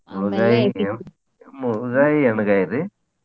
ಮುಳ್ಳಗಾಯಿ ಎಣ್ಗಾಯ್ರಿ?